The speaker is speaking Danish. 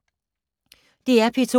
DR P2